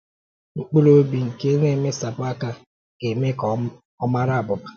Mkpụrụ obi nke na-emesapụ aka ga-eme ka ọ mārà abụ̀bà.